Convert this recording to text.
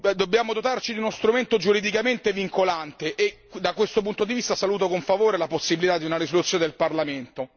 Dobbiamo dotarci di uno strumento giuridicamente vincolante e, da questo punto di vista, saluto con favore la possibilità di una risoluzione del Parlamento.